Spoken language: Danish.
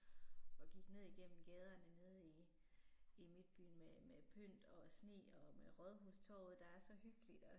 Og gik ned igennem gaderne nede i i midtbyen med med pynt og sne og med rådhustorvet der er så hyggeligt og